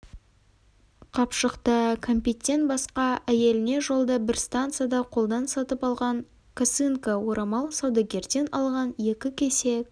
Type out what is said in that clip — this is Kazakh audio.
қапшықта кәмпиттен басқа әйеліне жолда бір станцияда қолдан сатып алған косынка орамал саудагерден алған екі кесек